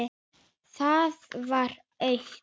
Það var autt.